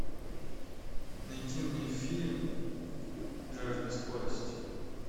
найди мне фильм жажда скорости